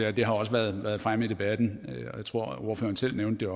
og det har også været fremme i debatten og jeg tror at ordføreren også selv nævnte